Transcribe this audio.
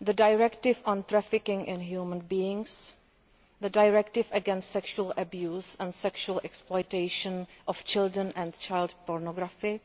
the Directive on Trafficking in Human Beings, the Directive against Sexual Abuse and Sexual Exploitation of Children and Child Pornography,